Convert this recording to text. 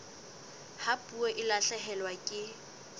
ha puo e lahlehelwa ke